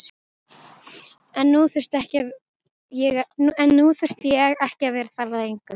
En nú þurfti ég ekki að vera það lengur.